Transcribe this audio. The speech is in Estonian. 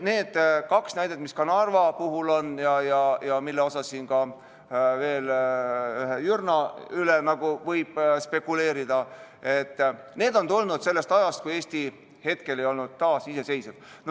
Need kaks näidet, mis Narva puhul on , on pärit sellest ajast, kui Eesti ei olnud iseseisev.